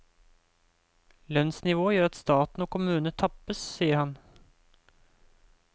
Lønnsnivået gjør at staten og kommunene tappes, sier han.